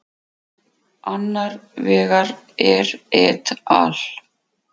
Annar vegar er et al.